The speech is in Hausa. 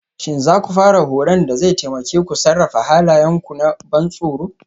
Shin za ku fara horon da zai taimake ku sarrafa halayenku na ban tsoro?